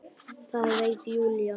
Það veit Júlía.